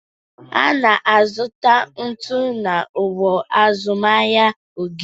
Ana azụta ntu na ọgbọ azụmahịa Ogidi